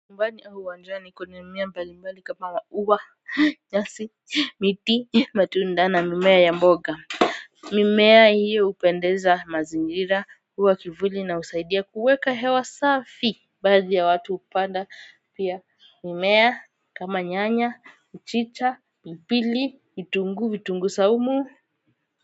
Nyumbani au uwanjani kuna mimea mbali mbali kama maua, nyasi, miti, matunda na mimea ya mboga Mimea hiyo hupendeza mazingira huwa kivuli na husaidia kuweka hewa safi baadhi ya watu hupanda pia mimea kama nyanya mchicha pilipili vitunguu vitunguu saumu